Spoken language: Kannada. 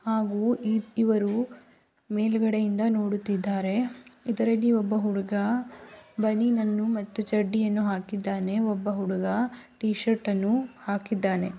ಹಾಗೂ ಇವರು ಮೇಲ್ಗಡೆಯಿಂದ ನೋಡುತ್ತಿದ್ದಾರೆ ಇದರಲ್ಲಿ ಒಬ್ಬ ಹುಡುಗ ಬನೀನ್ ಅನ್ನು ಮತ್ತು ಚಡ್ಡಿಯನ್ನು ಹಾಕಿದ್ದಾನೆ ಒಬ್ಬ ಹುಡುಗ ಟೀ ಶರ್ಟ್ ಅನ್ನು ಹಾಕಿದ್ದಾನೆ.